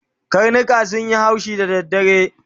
Karnika sunyi haushi da dare